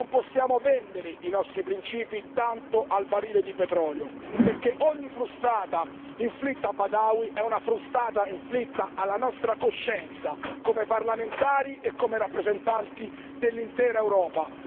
Non possiamo vendere i nostri principi tanto al barile di petrolio, perché ogni frustata inflitta a Badawi è una frustata inflitta alla nostra coscienza come parlamentari e come rappresentanti dell'intera Europa.